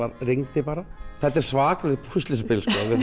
rigndi bara þetta er svakalegt púsluspil